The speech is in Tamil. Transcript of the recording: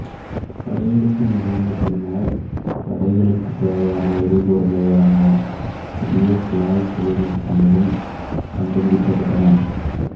படையெடுப்பு நிகழ்ந்த பின்னர் படைகளுக்குத் தேவையான எரிபொருளை வழங்க புதிய குழாய் தொழில்நுட்பங்களும் கண்டுபிடிக்கப்பட்டன